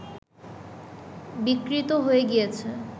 বিকৃত হয়ে গিয়েছে